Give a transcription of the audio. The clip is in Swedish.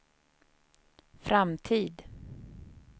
framtid